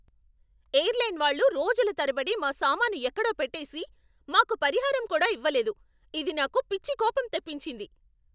Airline వాళ్ళు రోజుల తరబడి మా సామాను ఎక్కడో పెట్టేసి, మాకు పరిహారం కూడా ఇవ్వలేదు, ఇది నాకు పిచ్చి కోపం తెప్పించింది.